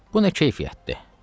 "Bu nə keyfiyyətdir?"